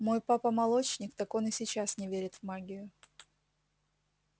мой папа молочник так он и сейчас не верит в магию